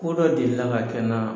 Ko dɔ deli ka kɛ n na